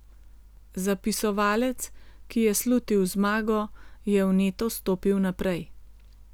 Zapisovalec, ki je slutil zmago, je vneto stopil naprej.